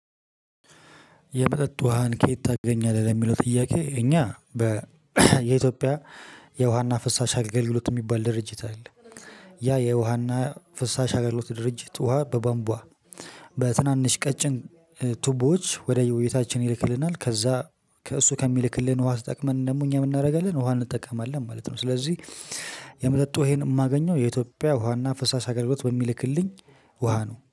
የመጠጥ ውሃን ከየት ታገኛለህ? ለሚለው ጥያቄ እኛ የኢትዮጵያ የውሃና ፍሳሽ አገልግሎት የሚባል ድርጅት አለ። ያ የውሃና ፍሳሽ አገልግሎት ድርጅት ውሃ በባንቧ በትናንሽ ቀጭን ቱቦወች ወደ ወደየቤታችን ይልክልናል ከዛ ከእሱ ከሚልክልን ውሃ ተጠቅመን ደግሞ እኛ ምን እናደርጋለን? ውሃ እንጠቀማለን ማለት ነው ስለዚህ የመጠጥ ዉሃየን የማገኘው የኢትዮጵያ ውሃና ፍሳሽ አገልግሎት በሚልክልኝ ውሃ ነው።